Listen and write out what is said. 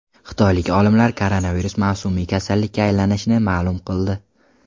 Xitoylik olimlar koronavirus mavsumiy kasallikka aylanishini ma’lum qildi.